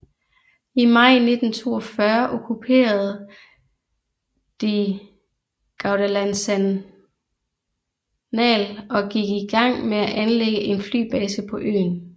I maj 1942 okkuperede de Guadalcanal og gik i gang med at anlægge en flybase på øen